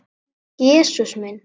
Jesús minn!